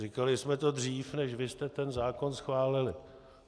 Říkali jsme to dřív, než vy jste ten zákon schválili.